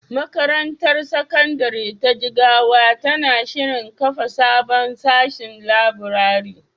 Makarantar Sakandare ta Jigawa na shirin kafa sabon sashin laburare.